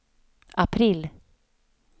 april